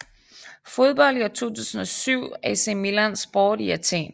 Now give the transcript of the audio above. Fodbold i 2007 AC Milan Sport i Athen